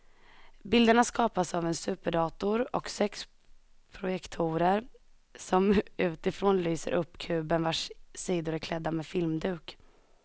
Bilderna skapas av en superdator och sex projektorer som utifrån lyser upp kuben vars sidor är klädda med filmduk.